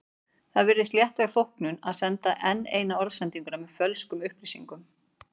Það virðist léttvæg þóknun að senda enn eina orðsendinguna með fölskum upplýsingum.